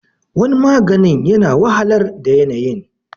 waniaganin yana wahalar da yanayin